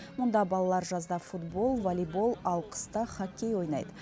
мұнда балалар жазда футбол волейбол ал қыста хоккей ойнайды